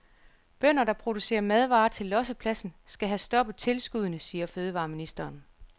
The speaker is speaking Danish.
Bønder, der producerer madvarer til lossepladsen, skal have stoppet tilskuddene, siger fødevareministeren.